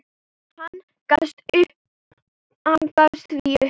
Hann gafst því upp.